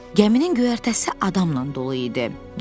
Gəminin göyərtəsi adamla dolu idi.